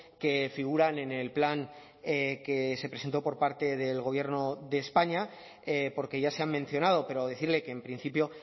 que figuran en el plan que se presentó por parte del gobierno de españa porque ya se han mencionado pero decirle que en principio